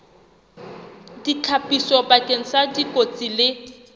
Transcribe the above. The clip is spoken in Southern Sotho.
ditlhapiso bakeng sa dikotsi le